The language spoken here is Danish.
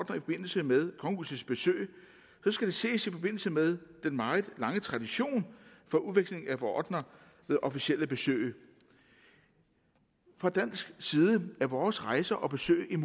forbindelse med kongehusets besøg skal det ses i forbindelse med den meget lange tradition for udveksling af ordener ved officielle besøg fra dansk side er vores rejser og besøg en